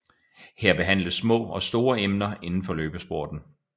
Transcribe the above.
Her behandles små og store emner indenfor løbesporten